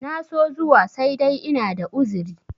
na so zuwa sai dai ina da uzuri